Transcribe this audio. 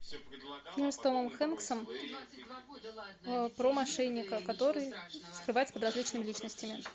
фильм с томом хенксом про мошенника который скрывается под различными личностями